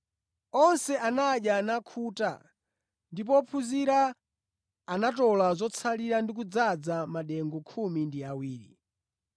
Onse anadya nakhuta ndipo ophunzira anatola zotsalira ndi kudzaza madengu khumi ndi awiri.